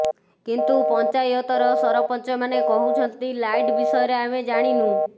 କିନ୍ତୁ ପଞ୍ଚାୟତର ସରପଞ୍ଚମାନେ କହୁଛନ୍ତି ଲାଇଟ ବିଷୟରେ ଆମେ ଜାଣିନୁ